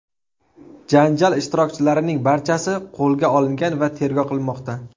Janjal ishtirokchilarining barchasi qo‘lga olingan va tergov qilinmoqda.